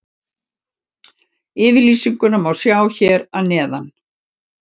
Yfirlýsinguna má sjá hér að neðan.